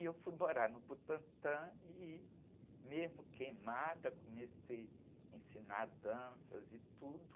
E eu fui morar no Butantã e, mesmo queimada, comecei a ensinar danças e tudo.